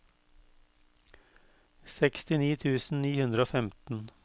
sekstini tusen ni hundre og femten